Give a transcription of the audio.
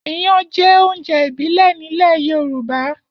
Iyan jẹ́ oúnjẹ ìbílẹ̀ nílẹ̀ Yorùbá.